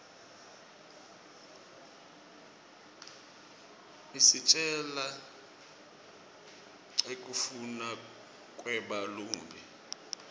isitjela nqekufnuna kweba lumbi